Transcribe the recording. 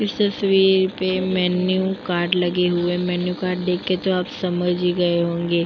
इस तस्वीर पे मेनू कार्ड लगे हुए मेनू कार्ड देखकर आप समझ ही गए होंगे।